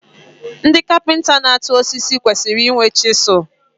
Ndị kapịnta na-atụ osisi kwesịrị inwe chịsụl